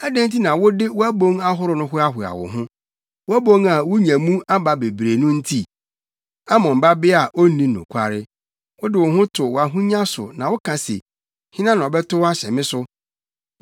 Adɛn nti na wode wʼabon ahorow no hoahoa wo ho, wʼabon a wunya mu aba bebree no nti? Amon Babea a Onni nokware, wode wo ho to wʼahonya so na woka se, ‘Hena na ɔbɛtow ahyɛ me so?’